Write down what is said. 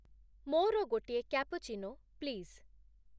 ମୋର ଗୋଟିଏ cappuccino, please